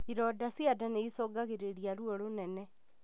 Ironda cia nda nĩicũngagĩrĩria ruo rũnene